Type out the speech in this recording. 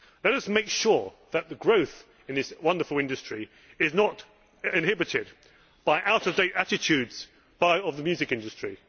Let us make sure that the growth of this wonderful industry is not inhibited by the out of date attitudes of the music industry.